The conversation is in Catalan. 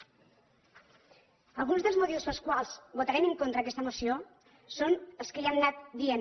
alguns dels motius pels quals votarem en contra d’aquesta moció són els que ja hem anat dient